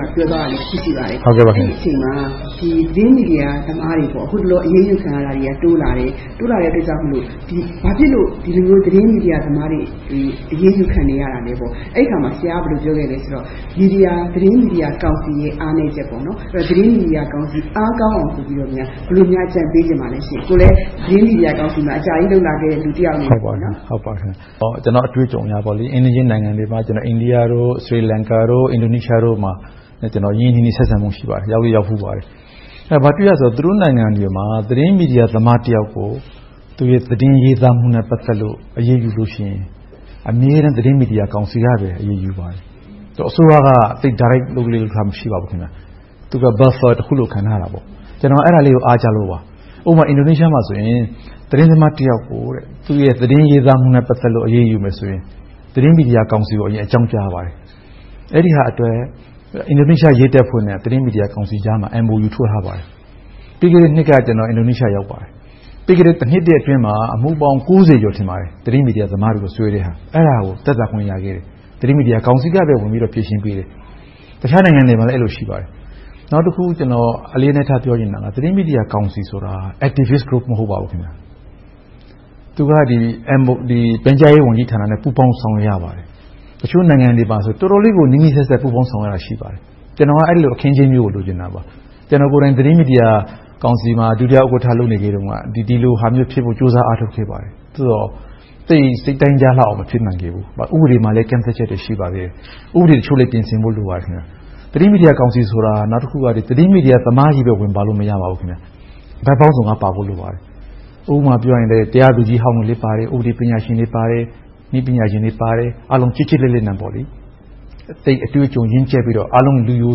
မှာ ပြောဆိုသွားတာ ရှိပါတယ်။ အဲဒီအချိန်မှာ သတင်းမီဒီယာသမားတွေ အခုတလော အရေးယူခံရတာတွေ တိုးလာပြီး၊ ဘာဖြစ်လို့ ဒီလိုမျိုး သတင်းမီဒီယာသမားတွေ အရေးယူခံနေရတာလဲဆိုတော့ အဲဒီအခါမှာ ဆရာက ဘယ်လိုပြောခဲ့သလဲဆိုတော့ သတင်းမီဒီယာကောင်စီရဲ့ အားနည်းချက်။ သတင်းမီဒီယာကောင်စီ အားကောင်းအောင် ဘယ်လိုများ အကြံပေးချင်ပါလဲ။ ကိုယ်လည်း သတင်းမီဒီယာကောင်စီမှာ အကြာကြီးလုပ်လာခဲ့တဲ့ လူတယောက်အနေနဲ့။ ကျနော့်အတွေ့အကြုံအရပေါ့ - အိမ်နီးချင်းနိုင်ငံတွေမှာ အိန္ဒိယ၊ သီရိလင်္ကာ၊ အင်ဒိုနီးရှားတို့မှာ ကျနော် ရင်းရင်းနှီးနှီး ဆက်ဆံမှု ရှိပါတယ်။ ရောက်လည်းရောက်ဖူးပါတယ်။ အဲဒီမှာ ဘာတွေ့ရသလဲဆိုတော့ သူတို့နိုင်ငံတွေမှာ သတင်းမီဒီယာသမားတယောက်ကို သူ့ရဲ့သတင်းရေးသားမှုနဲ့ ပတ်သက်လို့ အရေးယူလို့ရှိရင် အမြဲတမ်း သတင်းမီဒီယာကောင်စီကပဲ အရေးယူပါတယ်။ အစိုးရက Direct လုပ်လေ့လုပ်ထ မရှိပါဘူး။ သူက Buffer ကြားခံတခုလို့ ခံထားတာပေါ့။ ကျနော် အဲဒါလေးကို အားကျလို့ပါ။ ဥပမာ အင်ဒိုနီးရှားမှာဆိုရင် သတင်းသမားတယောက်ကို သူ့ရဲ့ သတင်းရေးသားမှုနဲ့ ပတ်သက်လို့ အရေးယူမယ်ဆိုရင် သတင်းမီဒီယာကောင်စီကို အကြောင်းကြားရပါတယ်။ အဲဒီဟာအတွက် အင်ဒိုနီးရှား ရဲတပ်ဖွဲ့နဲ့ သတင်းမီဒီယာကြားမှာ MOU ထိုးထားပါတယ်။ ပြီးခဲ့တဲ့နှစ်က ကျနော် အင်ဒိုနီးရှား ရောက်ပါတယ်။ ပြီးခဲ့တဲ့ တနှစ်အတွင်းမှာ အမှုပေါင်း ကျော် သတင်းမီဒီယာသမားတွေကို တရားစွဲထားတာကို သက်သာခွင့်ရခဲ့တယ်။ သတင်းမီဒီယာကောင်စီကပဲ ဖြေရှင်းပေးတယ်။ တခြားနိုင်ငံတွေမှာလည်း အဲဒီလို ရှိပါတယ်။ နောက်တခု ကျနော် အလေးအနက် ပြောချင်တာက သတင်းမီဒီယာကောင်စီဆိုတာ Activist Role မဟုတ်ပါဘူး။ သူက ပြန်ကြားရေးဝန်ကြီးဌာနနဲ့ ပူးပေါင်းဆောင်ရွက်ရပါတယ်။ တချို့နိုင်ငံတွေမှာဆိုရင် တော်တော်လေးကို နီးနီးစပ်စပ် ပူးပေါင်းဆောင်ရွက်ရတာ ရှိပါတယ်။ ကျနော်က အဲဒီလို အခင်းအကျင်းမျိုးကို လိုချင်တာပါ။ ကျနော်ကိုယ်တိုင် သတင်းမီဒီယာကောင်စီမှာ ဒုတိယဥက္ကဋ္ဌ လုပ်ခဲ့တုန်းက ဒီလိုဟာမျိုးဖြစ်ဖို့ ကြိုးစားအားထုတ်ခဲ့ပါတယ်။ အခုတော့ သိပ်စိတ်တိုင်းကျလောက်အောင် မဖြစ်နိုင်သေးဘူး။ ဥပဒေမှာလည်း ကန့်သတ်ချက်တွေ ရှိနေပါသေးတယ်။ ဥပဒေအချို့လည်း ပြင်ဆင်ဖို့ လိုပါတယ်။ သတင်းမီဒီယာကောင်စီဆိုတာ သတင်းမီဒီယာသမားချည်း ဝင်ပါလို့ မရပါဘူး။ ဘက်ပေါင်းစုံကပါဖို့ လိုပါတယ်။ ဥပမာအားဖြင့် တရားသူကြီးဟောင်းလည်းပါမယ်။ ဥပဒေပညာရှင်တွေပါမယ်။ နည်းပညာရှင်တွေပါမယ်။ အားလုံး ကျစ်ကျစ်လစ်လစ်နဲ့ သိပ်အတွေ့အကြုံ ရင့်ကျက်ပြီးတော့ အားလုံး လူရို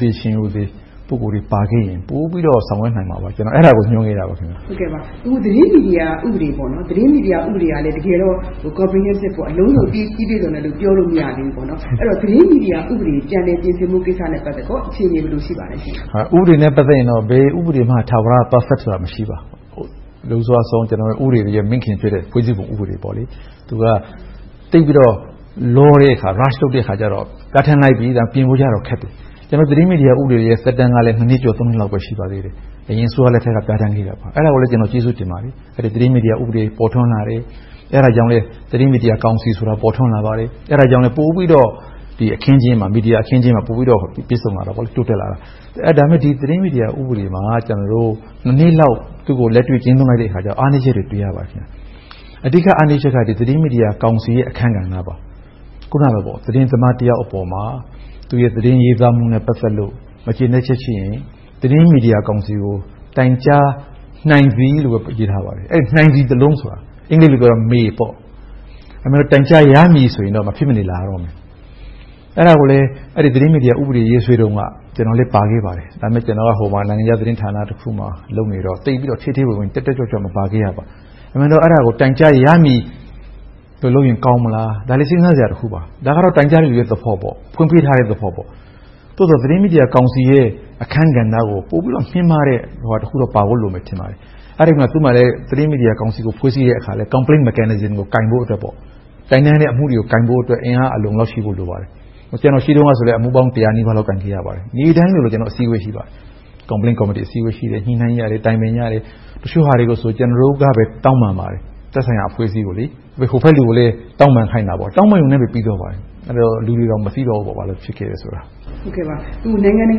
သေရှင်ရိုသေ ပုဂ္ဂိုလ်တွေ ပါခဲ့ရင် ပိုပြီးတော့ ဆောင်ရွက်နိုင်မှာပါ။ ကျနော်က အဲဒါကို မျှော်နေတာပါ။ သတင်းမီဒီယာဥပဒေကလည်း တကယ်တော့ အလုံးစုံ ပြီပြည့်စုံတယ် ပြောလို့မရသေးဘူး။ အဲဒီတော့ သတင်းမီဒီယာဥပဒေ ပြန်လည်ပြင်ဆင်ဖို့ကိစ္စနဲ့ ပတ်သက်လို့ အခြေအနေ ဘယ်လိုရှိပါလဲ။ ဥပဒေနဲ့ ပတ်သက်ရင်တော့ ဘယ်ဥပဒေမှ ထာဝရ Perfect ဆိုတာ မရှိပါဘူး။ လွန်စွအဆုံး ဥပဒေတွေရဲ့ မိခင်ဖြစ်တဲ့ ဖွဲ့စည်းပုံဥပဒေ သူက သိပ်ပြီးတော့ လောတဲ့အခါကြတော့ ဒါထည့်လိုက်ပြီဆိုရင် ပြင်ဖို့ခက်တယ်။ ကျနော်တို့ သတင်းမီဒီယာသက်တမ်းကလည်း နှစ်ကျော် နှစ်လောက်ပဲ ရှိသေးတယ်။ အရင်အစိုးရလက်ထက်က ပြဌာန်းခဲ့တာပါ။ အဲဒါကိုလည်း ကျေးဇူးတင်ပါတယ်။ သတင်းမီဒီယာ ဥပဒေ ပေါ်ထွန်းလာတယ်။ အဲဒါကြောင့်လဲ သတင်းမီဒီယာကောင်စီဆိုတာ ပိုထွန်းလာပါတယ်။ အဲဒါကြောင့် ပိုပြီးတော့ မီဒီယာအခင်းအကျင်းမှာ ပိုပြီးတော့ ပြည့်စုံလာတယ်၊ တိုးတက်လာတယ်။ ဒါပေမဲ့ ဒီသတင်းမီဒီယာ ဥပဒေမှာ နှစ်လောက် သူကို လက်တွေ့ကျင့်သုံးလိုက်တဲ့အခါကြတော့ အားနည်းချက်တွေကို တွေ့ရပါတယ်။ အဓိကအားနည်းချက်က သတင်းမီဒီယာကောင်စီရဲ့ အခန်းကဏ္ဍပါ။ အခုနလို သတင်းသမားတယောက်အပေါ်မှာ သူ့ရဲ့ သတင်းရေးသားမှုနဲ့ ပတ်သက်လို့ မကျေနပ်ချက်ရှိရင် သတင်းမီဒီယာကောင်စီကို တိုင်းကြားနိုင်သည်လို့ပဲ ရေးထားပါတယ်။ အဲဒီ “နိုင်သည်” စာလုံးက အင်္ဂလိပ်မှာဆို “May” ဖြစ်တယ်။ အဲဒီအစား “တိုင်းကြားရမည်” ဆိုရင်တော့ မဖြစ်မနေလာရတော့မယ်။ အဲဒါကိုလဲ သတင်းမီဒီယာဥပဒေ ရေးဆွဲတုန်းက ကျနော်လည်း ပါခဲ့ပါတယ်။ ဒါပေမဲ့ ကျနော်က နိုင်ငံခြားသတင်းဌာနတခုမှာ လုပ်နေတော့ သိပ်ပြီးတော့ ထဲထဲဝင်ဝင်၊ တက်တက်ကြွကြွ မပါခဲ့ပါဘူး။ အမှန်တော့ အဲဒါကို “တိုင်းကြားရမည်” ပြင်လိုက်ရင် ကောင်းမလား - ဒါလဲ စဉ်းစားစရာတခုပါ။ ဒါကတော့ တိုင်းကြားသူရဲ့ သဘောပေါ့။ ဖွင့်ပေးထားတဲ့သဘောပေါ့။ သို့သော် သတင်းမီဒီယာကောင်စီရဲ့ အခန်းကဏ္ဍကို ပိုပြီးတော့ မြင့်မားတဲ့အရာတခုတော့ ပါဖို့လိုမယ် ထင်ပါတယ်။ အဲဒီမှာလဲ သတင်းမီဒီယာကို ဖွဲ့စည်းတဲ့အခါမှာ Complaints mechanism ကို ကိုင်ဖို့အတွက် အင်အားအလုံအလောက်ရှိဖို့ လိုပါတယ်။ ကျနော် ရှိတုန်းကလည်း အမှုပေါင်း တစ်ရာနီးပါးလောက် ကိုင်ခဲ့ရပါတယ်။ နေ့တိုင်းလိုလို ကျနော်တို့ အစည်းအဝေး ရှိပါတယ်။ Complaint Committee အစည်းအဝေး ရှိတယ်။ ညှိနှိုင်းကြတယ်။ တိုင်ပင်ကြတယ်။ တချို့ဟာတွေဆို ကျနော်တို့ကပဲ တောင်းပန်ပါတယ်။ သက်ဆိုင်ရာအဖွဲ့အစည်းကို။ ဟိုဘက်လူကိုလည်း တောင်းပန်ခိုင်းတာပေါ့။ တောင်းပန်ရုံနဲ့ ပြီးသွားပါတယ်။ အဲဒီတော့ လူတွေတောင် မသိတော့ဘူး ဘာလို့ဖြစ်ခဲ့တယ်ဆိုတာ။ အခု နိုင်ငံတ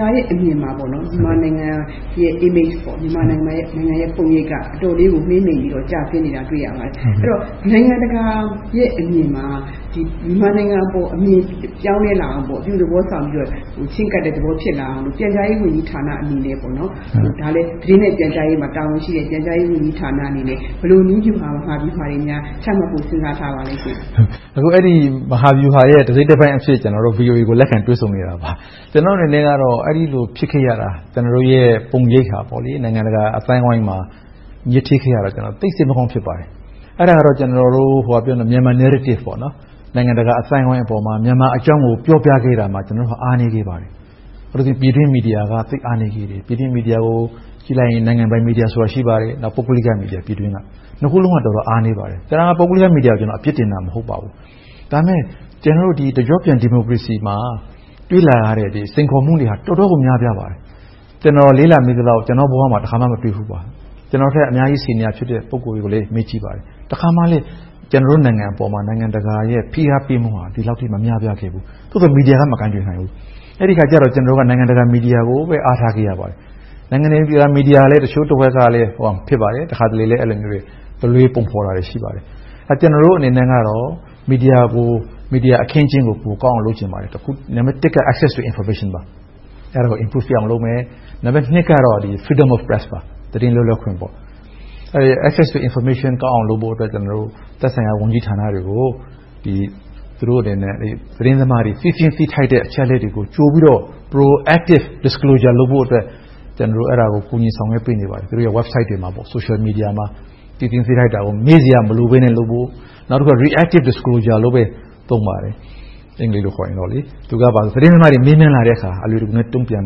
ကာရဲ့အမြင်မှာ မြန်မာနိုင်ငံရဲ့ Image ပုံရိပ်က အတော်လေးကို မှေးမှိန်ပြီးတော့ ကျဆင်းနေတာကို တွေ့ရပါတယ်။ အဲဒီတော့ နိုင်ငံတကာရဲ့ အမြင်မှာ မြန်မာနိုင်ငံအပေါ် အမြင်ပြောင်းလဲလာအောင် - အပြုသဘောဆောင်ပြီးတော့ ချဉ်းကပ်တဲ့သဘော ဖြစ်လာအောင် ပြန်ကြားရေးဝန်ကြီးဌာနအနေနဲ့ ဒါလဲ သတင်းနဲ့ပြန်ကြားရေးမှာ တာဝန်ရှိတဲ့ ပြန်ကြားရေးဌာနအနေနဲ့ ဘယ်လိုနည်းဗျူကိုမှာပြီး ဘာတွေများ ချမှတ်ဖို့ စဉ်းစားထားပါသလဲ။ အဲဒီ မဟာဗျူဟာရဲ့ တစိတ်တပိုင်းအဖြစ် ကျနော်တို့ VOA ကို လက်ခံတွေ့ဆုံနေတာပါ။ အဲဒီလို ဖြစ်ခဲ့ရတာ ကျနော်တို့ရဲ့ ပုံရိပ်ဟာ နိုင်ငံတကာအသိုင်းအဝိုင်းမှာ ညစ်ထေးခဲ့ရတာကြောင့် သိပ်စိတ်မကောင်း ဖြစ်ရပါတယ်။ အဲဒါက Myanmar Narrative နိုင်ငံတကာအသိုင်းအဝိုင်းပေါ်မှာ မြန်မာအကြောင်းကို ပြောပြခဲ့ဖို့ကို ကျနော်တို့ အားနည်းခဲ့ပါတယ်။ ပြည်တွင်းမီဒီယာက သိပ်အားနည်းခဲ့တယ်။ ပြည်တွင်းမီဒီယာကို ကြည့်လိုက်ရင် နိုင်ငံပိုင်မီဒီယာဆိုတာ ရှိပါတယ်။ ပုဂ္ဂလိကမီဒီယာ။ နှစ်ခုစလုံးက တော်တော်အားနည်းပါတယ်။ ပုဂ္ဂလိကမီဒီယာကို အပြစ်တင်နေတာ မဟုတ်ပါဘူး။ ဒါပေမဲ့ ကျနော်တို့ တကျော့ပြန် ဒီမိုကရေစီမှာ တွေ့လာရတဲ့ စိန်ခေါ်မှုတွေက တော်တော်ကို များပြားပါတယ်။ ကျနော် လေ့လာမိသလောက် ကျနော့်ဘဝမှာ တခါမှ မတွေ့ဖူးပါဘူး။ ကျနော့်ထက် အများကြီး ဆီနီယာရှိတဲ့ ပုဂ္ဂိုလ်တွေကိုလည်း မေးကြည့်ပါတယ်။ တခါမှ ကျနော်တို့ နိုင်ငံအပေါ် နိုင်ငံတကာရဲ့ ဖိအားပေးမှုက ဒီလောက်အထိ မများပြားခဲ့ဘူး။ သို့သော် မီဒီယာက မကိုင်တွယ်နိုင်ဘူး။ အဲဒီအခါကြတော့ ကျနော်တို့က နိုင်ငံတကာ မီဒီယာကိုပဲ အားထားခဲ့ရပါတယ်။ နိုင်ငံတကာမီဒီယာ တချို့တဝက်ကလည်း တခါတလေ တလွဲပုံဖော်တာတွေ ရှိပါတယ်။ ကျနော်တို့ အနေနဲ့ကတော့ မီဒီယာအခင်းအကျင်းကို ပိုကောင်းအောင် လုပ်ချင်ပါတယ်။ နံပတ်တစ်က Access to Information ပါ။ အဲဒါကို တိုးတက်အောင်လုပ်မယ်။ နံပတ်နှစ်က Freedom of Press သတင်းလွတ်လပ်ခွင့်။ Access to Information ကောင်းအောင်လုပ်ဖို့ သက်ဆိုင်ရာဝန်ကြီးဌာနတွေကို သူတို့အနေနဲ့ သတင်းသမားတွေ သိချင်တဲ့ သိသင့်သိထိုက်တဲ့ သတင်းအချက်အလက်တွေကို ကြိုပြီးတော့ Pro-active Disclosure လုပ်ဖို့အတွက် ကျနော်တို့ ကူညီဆောင်ရွက်ပေးနေပါတယ်။ သူတို့ရဲ့ Website တွေမှာ Social Media တွေမှာ။ သိသင့်သိထိုက်စရာတွေကို မေးစရာမလိုဘဲနဲ့ လုပ်ဖို့။ နောက်တခုက Reactive Disclosure လို့ပဲ သုံးပါတယ်။ သတင်းသမားတွေ မေးမြန်းလာတဲ့အခါ အလွယ်တကူ တုံ့ပြန်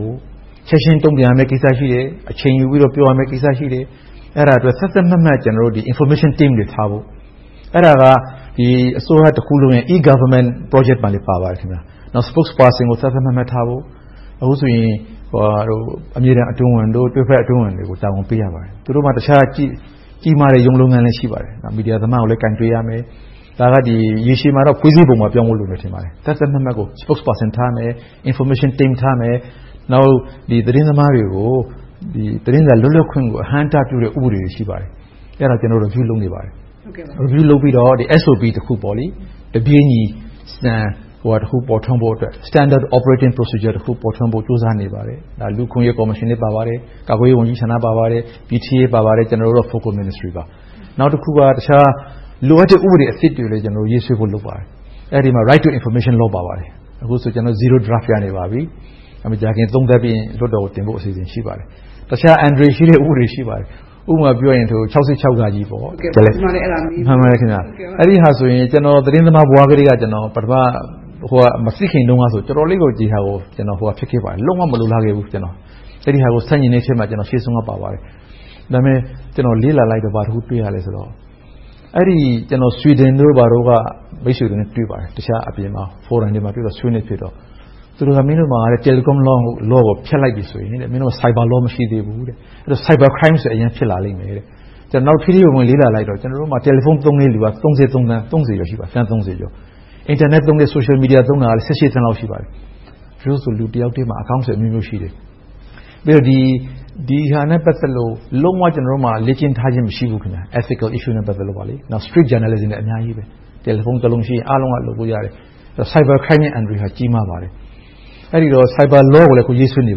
ဖို့ ချက်ချင်းတုံ့ပြန်ရမယ့်ကိစ္စ ရှိမယ်။ အချိန်ယူပြီးတော့ ပြောရမယ့်ကိစ္စ ရှိတယ်။ အဲဒါတွေအတွက် သတ်သတ်မှတ်မှတ် Information Team တွေထားဖို့ အဲဒါက အစိုးရတခုလုံးရဲ့ e-Government Project မှာလည်း ပါပါတယ်။ နောက် Spokesperson ကို သတ်သတ်မှတ်မှတ်ထားဖို့ -အခုဆိုရင် အမြဲတမ်း အတွင်းဝန်၊ တွဲဘက်အတွင်းဝန်တွေကို တာဝန်ပေးရပါတယ်။ သူတို့မှာ တခြားကြီးမားတဲ့ ရုံးလုပ်ငန်းလည်း ရှိပါတယ်။ မီဒီယာသမားကိုလည်း ကိုင်တွယ်ရမယ်။ ဒါက ရေရှည်မှာတော့ ဖွဲ့စည်းပုံပါ ပြောင်းဖို့လိုမယ် ထင်ပါတယ်။ သတ်သတ်မှတ်မှတ် Spokesperson ထားရမယ်။ Information Team ထားမယ်။ နောက် သတင်းသမားတွေကို သတင်းစာ လွတ်လပ်ခွင့်ကို အဟန့်အတားဖြစ်စေတဲ့ ဥပဒေတွေ ရှိပါတယ်။ အဲဒါတွေကို ကျနော် Review လုပ်နေပါတယ်။ Review လုပ်ပြီးတော့ SOP တခု တပြေညီစံတခု ပေါ်ထွန်းဖို့အတွက် Standard Operation Procedure တခု ပေါ်ထွန်းဖို့ ကြိုးစားနေပါတယ်။ လူ့အခွင့်အရေးကော်မရှင်လည်း ပါပါတယ်။ ကာကွယ်ရေးဝန်ကြီးဌာန ပါပါတယ်။ ကျနော်တို့ ဝန်ကြီးဌာနပါ။ နောက်တခုက လိုအပ်တဲ့ ဥပဒေသစ်တွေ ရေးဆွဲဖို့ လုပ်နေပါတယ်။ အဲဒီမှာ Right to Information Laws ပါပါတယ်။ အခုဆိုရင် ကျနော်တို့ Zero Draft ရနေပါပြီ။ မကြာခင်သုံးသပ်ပြီးရင် လွှတ်တော်ကိုတင်ဖို့ အစီအစဉ် ရှိပါတယ်။ တခြားအန္တရာယ်ရှိတဲ့ ဥပဒေတွေ ရှိပါတယ်။ ဥပမာပြောရင် ၆၆ - အဲဒီဟာဆိုရင် ကျနော် သတင်းသမားဘဝထဲက မသိခင်တုန်းကဆိုရင် တော်တော်လေးကို ဒီဟာကို လုံးဝမလိုလားခဲ့ဘူး။ အဲဒါကို ဆန့်ကျင်တဲ့အထဲမှာ ထိပ်ဆုံးက ပါခဲ့ပါတယ်။ ဒါပေမဲ့ ကျနော်လေ့လာလိုက်တော့ ဘာတခုတွေ့ရသလဲဆိုတော့ Sweden တို့ ဘာတို့က မိတ်ဆွေတို့နဲ့ တွေ့ပါတယ်။ အပြင် Forum တွေမှာ ဆွေးနွေးခဲ့တော့ သူတို့က မင်းတို့မှာ… law ကို ဖျက်လိုက်ပြီဆိုရင် Cyber Law မရှိသေးဘူး။ အဲဒီတော့ Cyber Crimes တွေ အရမ်းဖြစ်လာလိမ့်မယ်။ အဲဒါကို ထဲထဲဝင်ဝင် လေ့လာလိုက်တော့ ကျနော်တို့မှာ Mobile phone သုံးတဲံလူက သန်းကျော် ရှိပါတယ်။ အင်တာနက်၊ Social Media သုံးတဲ့သူ သန်းလောက် ရှိပါတယ်။ တချို့ဆို လူတယောက်ထဲမှာ အကောင့်တွေအမျိုးမျိုး ရှိတယ်။ ဒီဟာနဲ့ ပတ်သက်လို့ လုံးဝ လေ့ကျင့်ထားခြင်း မရှိဘူး။ Ethical Issue နဲ့ ပတ်သက်လို့။ နောက် Street Journalism တွေက အများကြီးရှိတယ်။ Telephone တလုံးရှိရင် အားလုံးက လုပ်လို့ရတယ်။ Cyber Crime အန္တရာယ်က ကြီးမားပါတယ်။ အဲဒီတော့ Cyber Law ကိုလည်း အခုရေးဆွဲနေ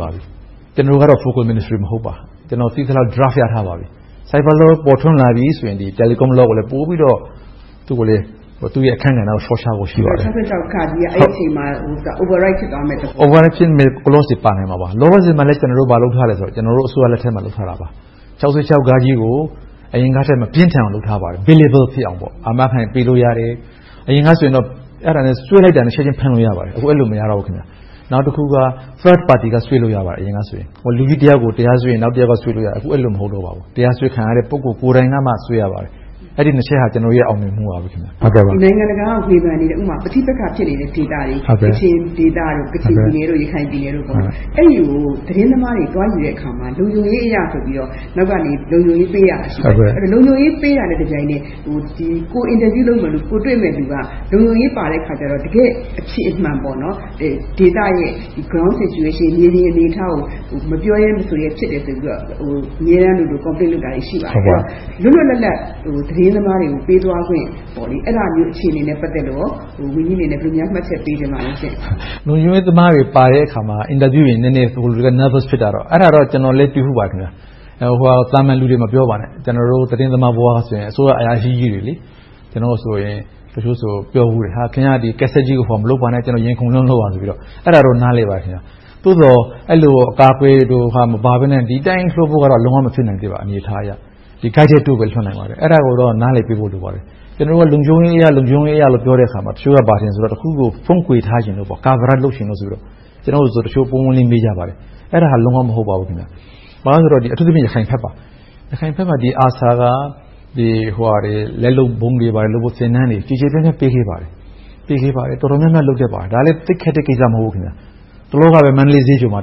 ပါပြီ။ ကျနော်ကတော့ Focal Ministry မဟုတ်ပါ။ ကျနော် သိသလောက် Draft ရထားပါပြီ။ Cyber Law ပေါ်ထွန်းလာပြီဆိုရင် Telecom Law ကိုလည်း ပိုပြီးတော့ သူ့ရဲ့အခန်းကဏ္ဍကို စောင့်ရှောက်ဖို့ရှိပါတယ်။ ၆၆ အဲဒီအချိန်မှာ Overwrite ဖြစ်သွားမယ့်သဘောပေါ့။ Overwrite ဖြစ်မယ့် Clauses တွေ ပါမှာပါ။ လောလောဆယ်မှာ ဘာလုပ်ထားသလဲဆိုတော့ ကျနော်တို့ အစိုးရလက်ထက်မှာ လုပ်ထားတာပါ။ ၆၆ ကို အရင်ကထက် မပြင်းထန်အောင် လုပ်ထားပါတယ်။ Payable ဖြစ်အောင်လို့ အာမခံပေးလို့ရတယ်။ အရင်ကဆို အဲဒါနဲ့ ဆွဲလိုက်တာနဲ့ ချက်ချင်းဖမ်းလို့ ရပါတယ်။ အခု အဲဒီလို မဟုတ်ပါဘူး။ နောက်တခုက Third Party က ဆွဲလို့ရတယ် အရင်ကဆို။ လူတယောက်ကို တရားဆွဲရင် နောက်တယောက်က ဆွဲလို့ရတယ်။ အခု အဲဒီလို မဟုတ်တော့ပါဘူး။ တရားစွဲခံရတဲ့ ပုဂ္ဂိုလ်ကိုယ်တိုင်ကမှ ဆွဲရပါတယ်။ အဲဒီနှစ်ချက်က ကျနော်တို့ရဲ့ အောင်မြင်မှုပါ။ နိုင်ငံတကာက ဝေဖန်နေတဲ့ ပဋိပက္ခ ဖြစ်နေတဲ့ ဒေသတွေ၊ ကချင်ပြည်နယ်၊ ရခိုင်ပြည်နယ်တို့ အဲဒီဒေသတွေကို သတင်းသမားတွေ သတင်းသွားယူတဲ့အခါမှာ လုံခြုံရေးအရဆိုပြီးတော့ နောက်ကနေ လုံခြုံရေးပေးရတာ ရှိတယ်။ လုံခြုံရေးပေးတာနဲ့ တပြိုက်နက်ထဲ ကိုယ်တွေ့မယ့်လူက လုံခြုံရေးပါတဲ့အခါကြတော့ တကယ့်အဖြစ်အမှန် ဒေသရဲ့ Ground Situation မြေပြင်အနေအထားကို မပြောရဲ မဆိုရဲ ဖြစ်တယ်ဆိုပြီးတော့ အမြဲတမ်းလိုလို Complaint လုပ်တာတွေ ရှိပါတယ်။ လွတ်လွတ်လပ်လပ် သတင်းသမားတွေကို ပေးသွားခွင့်၊ အဲဒါမျိုး အခြေအနေနဲ့ ပတ်သက်လို့ ဝန်ကြီးအနေနဲ့ ဘယ်လိုများ မှတ်ချက်ပေးချင်ပါလဲ။ လုံခြုံရေးသမားတွေပါတဲ့အခါ အင်တာဗျူးတွေ နည်းနည်း Nervous ဖြစ်တာတော့ ကျနော်လည်း တွေ့ဖူးပါတယ်။ သာမန်လူတွေ မပြောပါနဲ့ ကျနော်တို့ သတင်းသမားဘဝကဆိုရင် အစိုးရအရာရှိကြီးတွေ - တချို့ဆို ပြောဖူးတယ် - ခင်များ ကတ်ဆက်ကြီးကို ဟိုဟာမလုပ်ပါနဲ့ ကျနော် ရင်ခုန်လွန်လို့ပါဆိုပြီးတော့ - အဲဒါတော့ နားလည်ပါတယ်။ သို့သော် အဲဒီလို အကာအကွယ်မပါဘဲနဲ့ ဒီအတိုင်းလွှတ်ဖို့ကတော့ လုံးဝမဖြစ်နိုင်သေးပါ အနေအထားအရ။ ဒီအတိုင်းပဲ လွှတ်နိုင်ပါသေးတယ်။ အဲဒါကိုတော့ နားလည်ပေးဖို့ လိုပါတယ်။ ကျနော်တို့က လုံခြုံရေးအရလို့ ပြောတဲ့အခါမှာ တချို့က ဘာထင်သလဲဆိုရင် တခုခုကို ဖုံးကွယ်ထားချင်လို့၊ Coverage လုပ်ချင်လို့ဆိုပြီးတော့ ကျနော်ကို တချို့ ပွင့်ပွင့်လင်းလင်း မေးကြပါတယ်။ အဲဒါ လုံးဝ မဟုတ်ပါဘူး။ ဘာဖြစ်လို့လဲဆိုတော့ အထူးသဖြင့် ရခိုင်ဘက်ပါ။ ရခိုင်ဘက်မှာ ARSA က လက်လုပ်ဗုံးတွေလုပ်ဖို့ သင်တန်းတွေ ကျယ်ကျယ်ပြန့်ပြန့် ပေးခဲ့ပါတယ်။ တော်တော်များများ လုပ်တတ်ပါတယ်။ ဒါလဲ သိပ်ခက်တဲ့ကိစ္စ မဟုတ်ပါဘူး။ တလောကဆို မန္တလေးဈေးချိုမှာ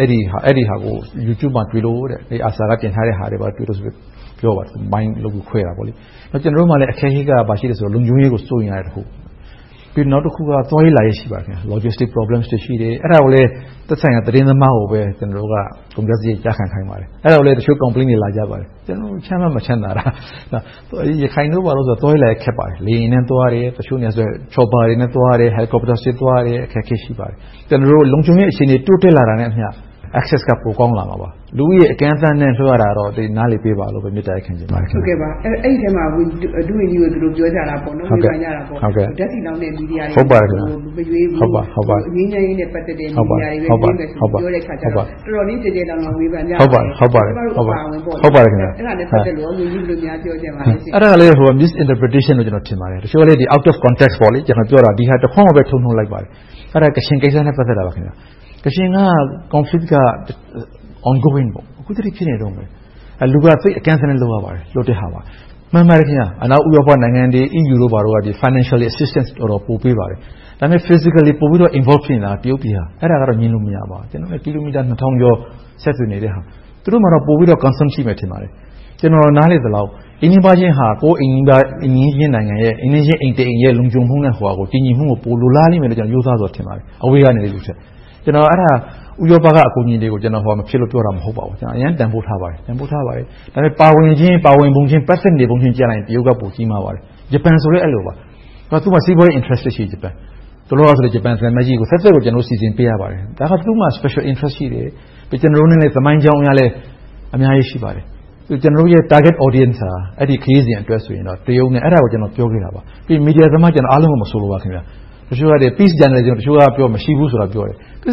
အဲဒီဟာကို Youtube မှာ ARSA က တင်ထားတာ တွေ့လို့ဆိုပြီး ပြောပါတယ်။ ကျနော်တို့မှာ အခက်အခဲက ဘာရှိလဲဆိုတော့ လုံခြုံရေးကို စိုးရိမ်ရတဲ့တခု။ ပြီးတော့ သွားရေးလာရေး ရှိပါတယ်။ Logistic Problem တွေ ရှိတယ်။ အဲဒါကိုလဲ သက်ဆိုင်ရာ သတင်းသမားကိုပဲ ကျနော်တို့က ကုန်ကျစရိတ် ကျခံခိုင်းပါတယ်။ အဲဒါကိုလဲ တချို့ Complaints တွေ လာကြပါတယ်။ ကျနော်တို့က ချမ်းမှမချမ်းသာတာ - ရခိုင်တို့ဘာတို့ဆို သွားရေးလာရေး ခက်ပါတယ်။ လေယာဉ်နဲ့သွားတယ်။ တချို့နေရာတွေဆို Chopper တွေနဲ့ သွားတယ်။ Helicopter တွေနဲ့ သွားရတယ်။ အခက်အခဲ ရှိပါတယ်။ ကျနော်တို့ လုံခြုံရေး အခြေအနေ တိုးတက်လာတာနဲ့အမျှ Access က ပိုကောင်းလာမှာပါ။ လူဦးရေ အကန့်အသတ်နဲ့ လွှတ်ရတာတော့ နားလည်ပေးပါလို့ မေတ္တာရပ်ခံချင်ပါတယ်။ အဲဒီအထဲမှာ ဒုဝန်ကြီးကို ပြောကြတာက ဝေဖန်ကြတာက ဓါတ်ဆီလောင်းတဲ့ မီဒီယာတွေကို မရွေးဘူး၊ ငြိမ်းချမ်းရေးနဲ့ ပတ်သက်တဲ့ မီဒီယာတွေပဲ ပြောတဲ့ဟာကို တော်တော်လေး ကျယ်ကျယ်လောင်လောင် ဝေဖန်ကြပါတယ်။ ကျမတို့ အပါအဝင် - အဲဒါနဲ့ ပတ်သက်လို့ ဝန်ကြီး ဘယ်လိုများ ပြောချင်ပါလဲ။ အဲဒါလဲ Misinterpretation လို့ ကျနော် ထင်ပါတယ်။ တချို့က Out of context ကျနော် ပြောတာကို ဒီဟာတခွန်းကိုပဲ ထုတ်နုတ်လိုက်ပါတယ်။ အဲဒါ ကချင်ကိစ္စနဲ့ ပတ်သက်တာပါ။ ကချင်က Conflict က Ongoing အခုထက်ထိ ဖြစ်နေတုန်းပါ။ လူက အကန့်အသတ်နဲ့ လွှတ်ရပါတယ်။ မှန်ပါတယ် - အနောက်ဥရောပနိုင်ငံတွေ၊ EU တို့က Financial Assistance တွေ ပေးပါတယ်။ ဒါပေမဲ့ Physically involve ဖြစ်နေတာက တရုတ်ပြည်က ဖြစ်ပါတယ်။ အဲဒါက ငြင်းလို့ မရပါဘူး။ ကျနော်တို့နဲ့ ကီလိုမီတာ နှစ်ထောင်ကျော် ဆက်သွယ်နေတဲ့ဟာ။ သူတို့မှာ ပိုပြီးတော့ Concern ရှိမှာပါ။ ကျနော် နားလည်သလောက် အိမ်နီးနားချင်းက ပိုပြီးတော့ အိမ်နီးချင်းအိမ်တအိမ်ရဲ့ လုံခြုံမှုနဲ့ တည်ငြိမ်မှုကို ပိုလိုလားလိမ့်မယ်လို့ ကျနော် ရိုးသားစွာထင်ပါတယ်။ အဲဒါ ဥရောပက အကူအညီတွေကို ဟိုဟာမဖြစ်လို့ ပြောတာ မဟုတ်ပါဘူး။ အရမ်းတန်းဖိုးထားပါတယ်။ ဒါပေမဲ့ ပါဝင်ခြင်း၊ ပတ်သက်ပုံခြင်းမှာ တရုတ်က ပိုကြီးမားပါတယ်။ ဂျပန်ဆိုလဲ အဲဒီလိုပါ။ သူတို့က စီးပွားရေး Interest ရှိတယ်။ တလောက ဂျပန်သံအမတ်ကြီးကို သတ်သတ်စီစဉ်ပေးရပါတယ်။ ဒါက သူတို့မှာ Special Interest ရှိတယ်။ ကျနော်တို့နဲ့ သမိုင်းကြောင်းအရလည်း အများကြီး ရှိပါတယ်။ ကျနော်တို့ရဲ့ Target Audience ဟာ အဲဒီခရီးစဉ်အတွက် တရုတ်နဲ့… အဲဒါကို ကျနော် ပြောခဲ့တာပါ။ မီဒီယာသမား အားလုံးကို မဆိုလိုပါဘူး တချို့က Peace မရှိဘူးလို့ ပြောတယ်။ ပြဿ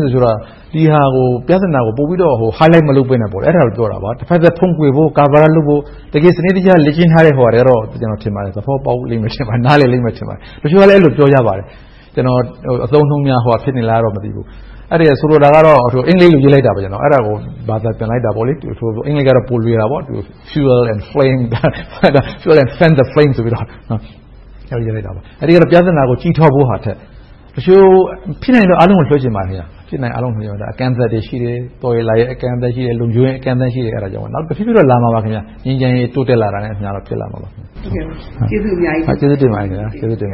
နာကို ပိုပြီးတော့ Highlight မလုပ်ဘဲနဲ့ အဲဒါကိုပြောတာပါ။ တဘက်သတ် ဖုံးကွယ်ဖို့၊ ကာကွယ်ဖို့ စနစ်တကျ လေ့ကျင့်ထားတဲ့ ဟိုဟာတွေကတော့ နားလည်လိမ့်မယ်၊ သဘောပေါက်လိမ့်မယ် ထင်ပါတယ်။ တချို့ကလည်း ပြောကြပါတယ်။ ကျနော် အသုံးအနှုန်းများ ဟိုဟာဖြစ်နေလား မသိဘူး။ ဆိုလိုတာကတော့ အင်္ဂလိပ်လို့ ရေးလိုက်တာပါ။ အဲဒါကို ဘာသာပြန်လိုက်တာပါ။ အင်္ဂလိပ်ကတော့ ပိုလွယ်တာပေါ့ To fuel the flame.. fan the flame ဆိုပြီးတော့ အဲဒါ ပြဿနာကို ကြီးထွားဖို့ဟာထက် ဖြစ်နိုင်ရင် အားလုံးကို ပြောချင်ပါတယ် အကန့်အသတ်တွေ ရှိတယ်။ လုံခြုံရေး အကန့်အသတ်တွေ ရှိတယ်။ နောက် တဖြည်းဖြည်းတော့ လာမှာပါ။ ငြိမ်းချမ်းရေး တိုးတက်လာတာနဲ့အမျှ ဖြစ်လာမှာပါ။ ကျေးဇူးအများကြီးတင်ပါတယ်။ ကျေးဇူးတင်ပါ